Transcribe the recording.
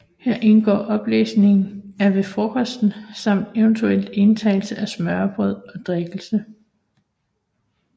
Her indgår oplæsning af Ved Frokosten samt eventuel indtagelse af smørrebrød og drikkelse